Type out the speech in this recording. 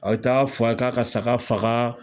A bɛ taa f'a ye k'a ka saga faga